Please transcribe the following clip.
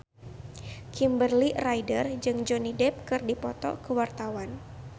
Kimberly Ryder jeung Johnny Depp keur dipoto ku wartawan